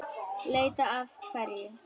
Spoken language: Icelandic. Leita að hverju?